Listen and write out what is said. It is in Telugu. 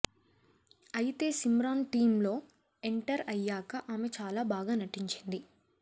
అయితే సిమ్రాన్ టీంలో ఎంటర్ అయ్యాక ఆమె చాల బాగా నటించింది